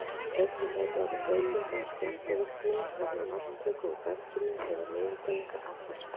Einnig gætu orðið breytingar á skjálftavirkni vegna vatnstöku úr berginu eða niðurdælingar affallsvatns.